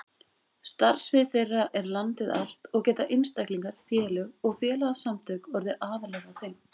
Starfsvið þeirra er landið allt og geta einstaklingar, félög og félagasamtök orðið aðilar að þeim.